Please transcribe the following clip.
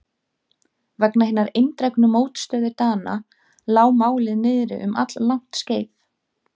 Vegna hinnar eindregnu mótstöðu Dana lá málið niðri um alllangt skeið.